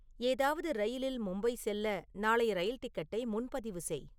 ஏதாவது ரயிலில் மும்பை செல்ல நாளைய ரயில் டிக்கெட்டை முன்பதிவு செய்